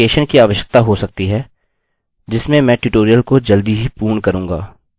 इसमें ऑथेन्टिकैशन की आवश्यकता हो सकती है जिसमें मैं ट्यूटोरियल को जल्दी ही पूर्ण करूँगा